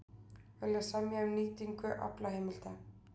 Vilja semja um nýtingu aflaheimilda